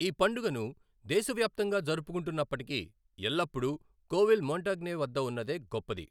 ఈ పండుగను దేశవ్యాప్తంగా జరుపుకుంటున్నప్పటికీ, ఎల్లప్పుడూ కోవిల్ మోంటగ్నే వద్ద ఉన్నదే గొప్పది.